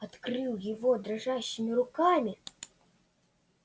открыл его дрожащими руками